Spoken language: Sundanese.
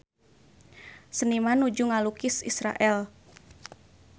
Seniman nuju ngalukis Israel